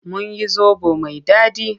Mun yi zoɓo mai daɗi.